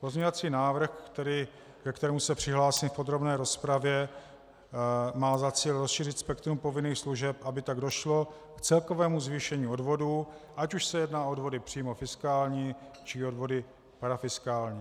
Pozměňovací návrh, ke kterému se přihlásím v podrobné rozpravě, má za cíl rozšířit spektrum povinných služeb, aby tak došlo k celkovému zvýšení odvodů, ať už se jedná o odvody přímo fiskální, či odvody parafiskální.